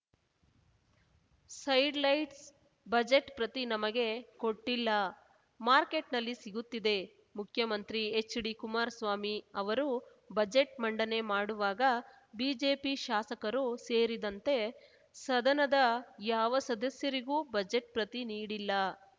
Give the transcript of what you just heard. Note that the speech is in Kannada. ಸೈಡ್‌ ಲೈಟ್ಸ್ ಬಜೆಟ್‌ ಪ್ರತಿ ನಮಗೆ ಕೊಟ್ಟಿಲ್ಲ ಮಾರ್ಕೆಟ್‌ನಲ್ಲಿ ಸಿಗುತ್ತಿದೆ ಮುಖ್ಯಮಂತ್ರಿ ಎಚ್‌ಡಿ ಕುಮಾರಸ್ವಾಮಿ ಅವರು ಬಜೆಟ್‌ ಮಂಡನೆ ಮಾಡುವಾಗ ಬಿಜೆಪಿ ಶಾಸಕರು ಸೇರಿದಂತೆ ಸದನದ ಯಾವ ಸದಸ್ಯರಿಗೂ ಬಜೆಟ್‌ ಪ್ರತಿ ನೀಡಿಲ್ಲ